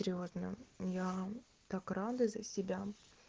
серьёзно я так рада за себя